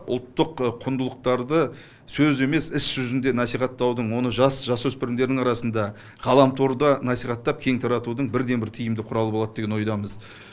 ұлттық құндылықтарды сөз емес іс жүзінде насихаттаудың оны жас жасөспірімдердің арасында ғаламторда насихаттап кең таратудың бірден бір тиімді құралы болады деген ойдамыз